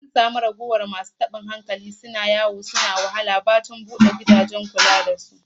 An samu raguwar masu tabuwar hankali suna yawo a tituna suna wahala, bayan bude gidajen kula da su